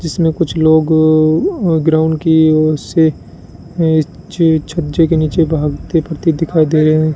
इसमें कुछ लोग ग्राउंड की ओर से अ च छज्जे के नीचे भागते फिरते दिखाई दे रहे हैं।